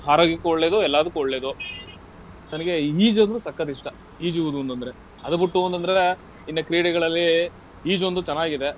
ಆರೋಗ್ಯಕ್ಕೂ ಒಳ್ಳೇದು, ಎಲ್ಲಾದುಕ್ಕು ಒಳ್ಳೇದು. ನನಿಗೆ ಈಜು ಅಂದ್ರೆ ಸಕ್ಕತ್ ಇಷ್ಟ. ಈಜುವುದು ಅಂತಂದ್ರೆ. ಅದು ಬುಟ್ಟು ಅಂತಂದ್ರೆ ಇನ್ನ ಕ್ರೀಡೆಗಳಲ್ಲಿ, ಈಜೊಂದು ಚೆನ್ನಾಗಿದೆ.